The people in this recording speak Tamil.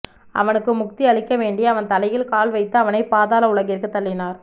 அவனுக்கு முக்தி அளிக்க வேண்டி அவன் தலையில் கால் வைத்து அவனைப் பாதாள உலகிற்கு தள்ளினார்